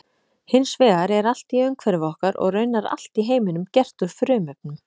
Hins vegar er allt í umhverfi okkar og raunar allt í heiminum gert úr frumefnum.